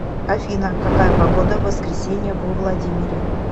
афина какая погода в воскресенье во владимире